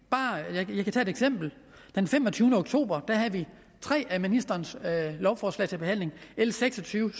og et eksempel den femogtyvende oktober havde vi tre af ministerens lovforslag til behandling l seks og tyve